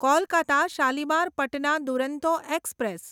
Kolkata Shalimar Patna Duronto express